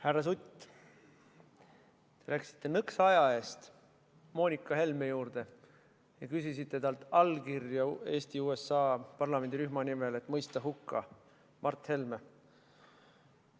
Härra Sutt, te läksite nõks aja eest Moonika Helme juurde ja küsisite talt allkirja Eesti-USA parlamendirühma nimel, et mõista hukka Mart Helme.